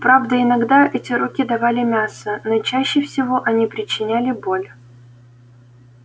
правда иногда эти руки давали мясо но чаще всего они причиняли боль